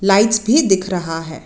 Lights भी दिख रहा है।